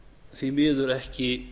því miður ekki